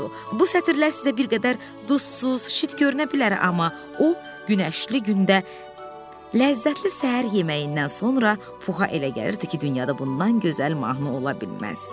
Bu sətirlər sizə bir qədər duzsuz, şit görünə bilər, amma o, günəşli gündə ləzzətli səhər yeməyindən sonra Puha elə gəlirdi ki, dünyada bundan gözəl mahnı ola bilməz.